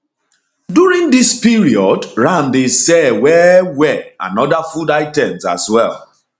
during dis period ram dey sell well well and oda food items as well